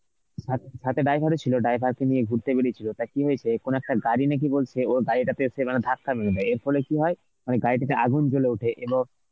সাত~ সাথে driver ও ছিল, driver কে নিয়ে ঘুরতে বেরিয়েছিল, তা কি হয়েছে কোন একটা গাড়ি নাকি বলছে ওর গাড়িটা মানে ধাক্কা মেরে দেয় এরপরে কি হয় মানে গাড়িটাতে আগুন জ্বলে ওঠে এবং